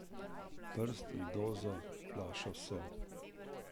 Brst, doza, flaša, sol.